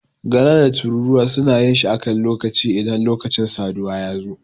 Gara da tururuwa suna yin shi a kan lokaci idan lokacin saduwa ya zo.